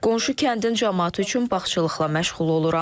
Qonşu kəndin camaatı üçün bağçılıqla məşğul oluram.